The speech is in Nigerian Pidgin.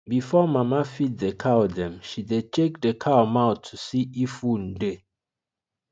before mama feed the cow dem she dey check the cow mouth to see if wound dey